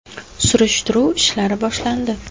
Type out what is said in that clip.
Surishtiruv ishlari boshlandi.